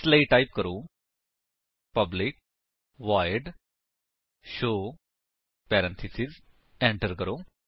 ਇਸਲਈ ਟਾਈਪ ਕਰੋ public void show parenthesis enter ਕਰੋ